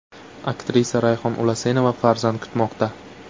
Aktrisa Rayhon Ulasenova farzand kutmoqda.